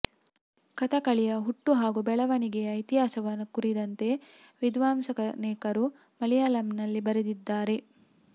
ಕಥಕಳಿಯ ಹುಟ್ಟು ಹಾಗೂ ಬೆಳವಣಿಗೆಯ ಇತಿಹಾಸವನ್ನು ಕುರಿತಂತೆ ವಿದ್ವಾಂಸರನೇಕರು ಮಲಯಾಳಂನಲ್ಲಿ ಬರೆದಿದ್ದಾರೆ